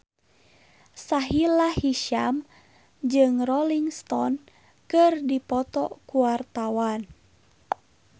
Sahila Hisyam jeung Rolling Stone keur dipoto ku wartawan